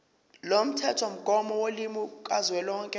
lomthethomgomo wolimi kazwelonke